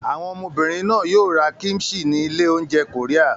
Àwọn ọmọbìnrin náà yóò ra kíḿṣì ní ilé-oúnjẹ Korea.